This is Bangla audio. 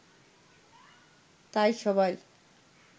তাই সবাই